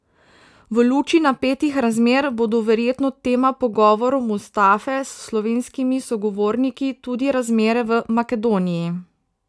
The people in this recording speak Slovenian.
V luči napetih razmer bodo verjetno tema pogovorov Mustafe s slovenskimi sogovorniki tudi razmere v Makedoniji.